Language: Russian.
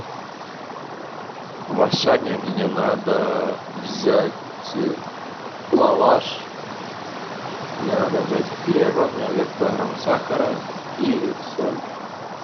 в ашане мне надо взять лаваш мне надо взять хлеба мне надо взять килограмм сахара и соль